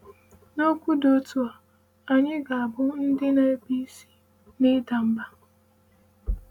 N’okwu dị otu a, anyị ga - abụ ndị na - ebi isi n’ịda mba.